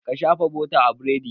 Ka shafa bota a biredin!